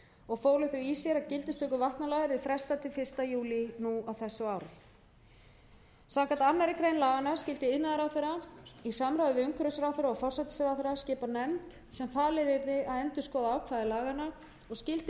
og fólu þau í sér að gildistöku vatnalaga yrði frestað til fyrsta júlí nú á þessu ári samkvæmt annarri grein laganna skyldi iðnaðarráðherra í samráði við umhverfisráðherra og forsætisráðherra skipa nefnd sem falið yrði að endurskoða ákvæði laganna og skyldi